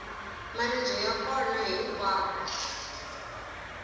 maribye ya kona hinkwako